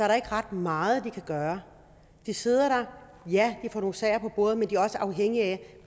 der ikke ret meget de kan gøre de sidder der ja de får nogle sager på bordet men de er også afhængige af